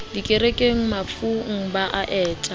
dikerekeng mafung ba a eta